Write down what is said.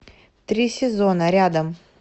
три сезона рядом